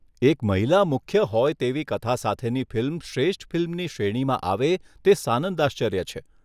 એક મહિલા મુખ્ય હોય તેવી કથા સાથેની ફિલ્મ શ્રેષ્ઠ ફિલ્મની શ્રેણીમાં આવે તે સાનંદાશ્ચર્ય છે.